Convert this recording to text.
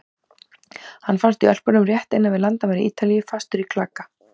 Hann fannst í Ölpunum rétt innan við landamæri Ítalíu, fastur í klaka.